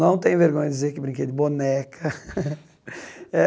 Não tenho vergonha de dizer que brinquei de boneca.